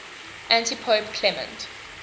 antipope clement